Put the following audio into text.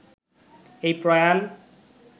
এই প্রয়াণ